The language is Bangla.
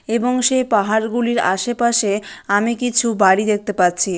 এবং সেই পাহাড় গুলির আশেপাশে আমি কিছু বাড়ি দেখতে পাচ্ছি ।